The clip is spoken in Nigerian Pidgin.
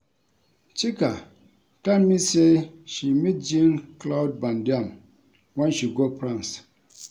Chika tell me say she meet Jean Claude Van Dam wen she go France.